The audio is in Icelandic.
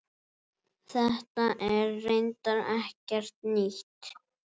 Þetta er reyndar ekkert nýtt.